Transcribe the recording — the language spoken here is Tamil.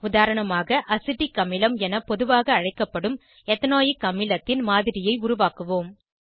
உதாரணமாக அசிட்டிக் அமிலம் என பொதுவாக அழைக்கப்படும் எத்தனாயிக் அமிலத்தின் மாதிரியை உருவாக்குவோம்